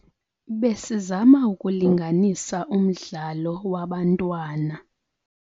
Besizama ukulinganisa umdlalo wabantsana